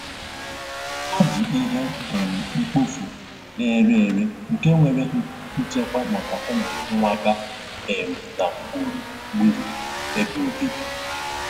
Ha ji ihe um mkpofu na-ere ere nke nwéré nchekwa maka ụmụ nwamba um na gbùrù um gbúrù ebe obibi